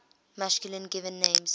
masculine given names